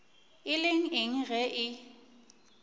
e le eng ge e